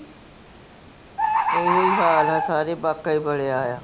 ਇਹੋ ਹੀ ਹਾਲ ਹੈ, ਸਾਰੇ ਹੋਇਆ ਆ